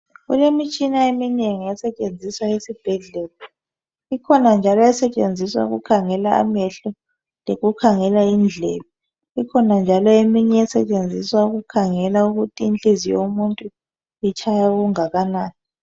Kulemitshina eminengi esetshenziswa esibhedlela ,ikhona njalo esetshenziswa ukukhangela amehlo lokukhangela indlebe ikhona njalo leminye esetshenziswa ukukhangela ukuthi inhliziyo yomuntu itshaya okunganani